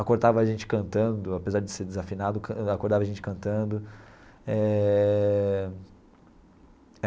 Acordava a gente cantando, apesar de ser desafinado, acordava a gente cantando eh.